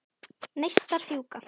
Neistar fjúka.